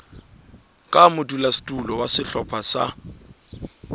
ka modulasetulo wa sehlopha sa